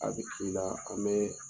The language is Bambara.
A bɛ k' i la a mɛn